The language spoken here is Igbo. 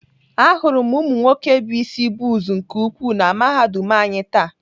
Ahụrụ m ụmụnwoke bụ isi bọz nke ukwuu na Mahadum anyị taa.